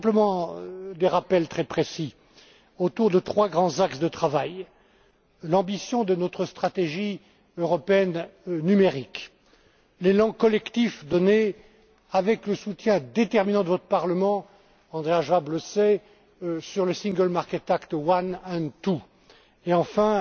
Je veux simplement faire des rappels très précis autour de trois grands axes de travail l'ambition de notre stratégie européenne numérique, l'élan collectif donné avec le soutien déterminant de votre Parlement Andreas Schwab le sait sur le Single Market Act I and II et enfin,